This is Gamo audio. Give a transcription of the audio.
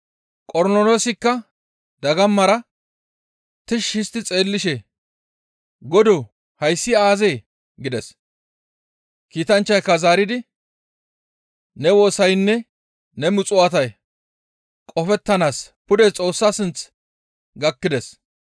Qornoloosikka dagamara tishshi histti xeellishe, «Godoo hayssi aazee?» gides. Kiitanchchayka zaaridi, «Ne woosaynne ne muxuwaatay qofettanaas pude Xoossa sinth gakkides.